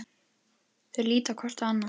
Þau líta hvort á annað.